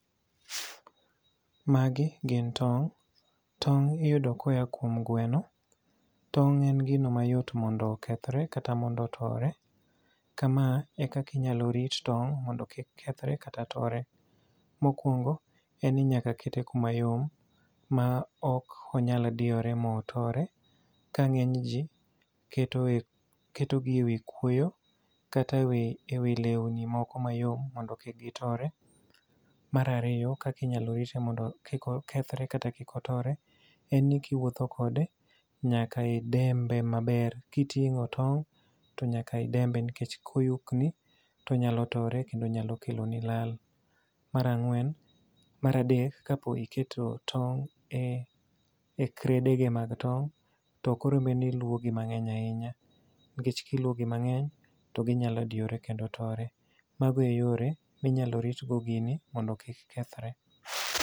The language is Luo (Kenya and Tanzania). Magi gin tong'. Tong' iyudo koya kuom gweno. Tong' en gino mayot mondo okethore kata mondo otore. Kama e kaka inyalo rit tong' mondo kik kethore, kata kik tore. Mokwongo, en ni nyaka kete kuma yom, ma ok onyal diyore ma otore. Ka ngény ji keto e, keto gi e wi kwoyo, kata e wi, e wi lewni moko mayom mondo kik gitore. Mar ariyo, kakinyalo rite mondo kik okethore, kata kik otore, en ni kiwuotho kode, nyaka idembe maber, ka itingó tong', to nyaka idembe nikech ka oyukni, to onyalo tore kendo onyalo kelo ni lal. Mar ang'wen, mar adek, ka po iketo tong' e e crate ge mag tong', tok oro bed ni ilwo gi mangény ahinya. Nikech ka ilwo gi mangény to ginyalo diyore kendo tore. Mago e yore ma inyalo rit godo gini mondo kik kethore.